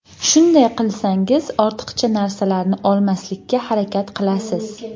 Shunday qilsangiz ortiqcha narsalarni olmaslikka harakat qilasiz.